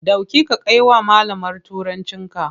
Ɗauki ka kai wa malamar Turancinka!